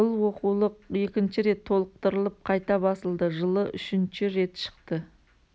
бұл оқулық екінші рет толықтырылып қайта басылды жылы үшінші рет шықты